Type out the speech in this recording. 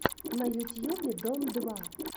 на ютьюбе дом два